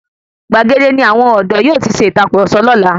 Gbàgede ní àwọn ọdọ yóò tí ṣe ìtàkurọ̀sọ lọ́la.